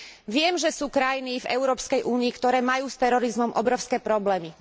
Viem, že sú krajiny v Európskej únii, ktoré majú s terorizmom obrovské problémy.